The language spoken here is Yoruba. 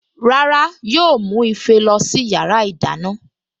Rárá yóò mú ife lọ sí yàrá ìdáná